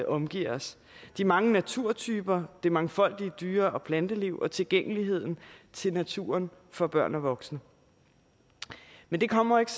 omgiver os de mange naturtyper det mangfoldige dyre og planteliv og tilgængeligheden til naturen for børn og voksne men det kommer ikke